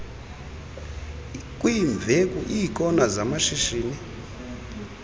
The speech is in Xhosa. kwiimveku iikona zamashishini